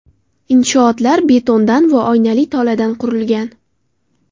Inshootlar betondan va oynali toladan qurilgan.